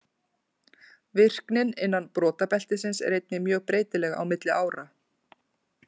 Virknin innan brotabeltisins er einnig mjög breytileg á milli ára.